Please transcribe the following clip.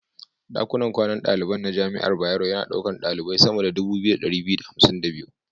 Ɗakunan kwanan daliban na jami'ar Bayero yana ɗaukar ɗalibai sama da 2252.